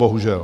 Bohužel.